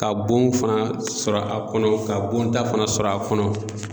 Ka bon fana sɔrɔ a kɔnɔ, ka bonta fana sɔrɔ a kɔnɔ.